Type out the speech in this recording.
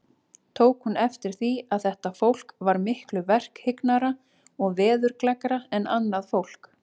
Tók hún eftir því, að þetta fólk var miklu verkhyggnara og veðurgleggra en annað fólk.